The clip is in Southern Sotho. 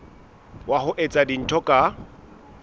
wa ho etsa dintho ka